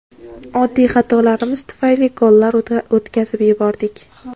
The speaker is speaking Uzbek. Oddiy xatolarimiz tufayli gollar o‘tkazib yubordik.